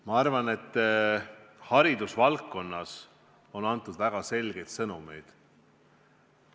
Ma arvan, et haridusvaldkonnas on antud väga selgeid sõnumeid.